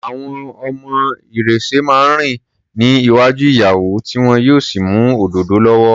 Àwọn ọmọ ìrẹ̀sẹ̀ máa ń rìn ní iwájú ìyàwó tí wọn yóò sì mú òdòdó lọ́wọ́.